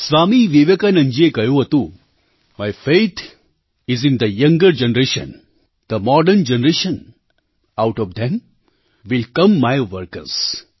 સ્વામી વિવેકાનંદજીએ કહ્યું હતું my faith is in the younger generation the modern generation out of them will come my workers